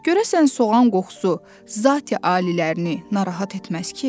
Görəsən soğan qoxusu zati alilərini narahat etməz ki?